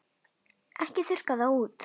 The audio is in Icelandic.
Ekki þurrka það út.